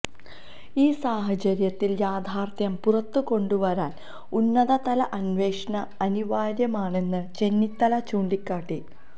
ഈ സാഹചര്യത്തില് യാഥാര്ത്ഥ്യം പുറത്ത് കൊണ്ടു വരാന് ഉന്നത തല അന്വേഷണം അനിവാര്യമാണെന്ന് ചെന്നിത്തല ചൂണ്ടിക്കാട്ടി